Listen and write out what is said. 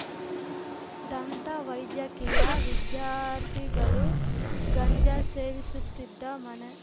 ದಂತ ವೈದ್ಯಕೀಯ ವಿದ್ಯಾರ್ಥಿಗಳು ಗಂಜಾ ಸೇವಿಸುತ್ತಿದ್ದ ಮನೆ